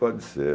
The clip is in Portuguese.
Pode ser.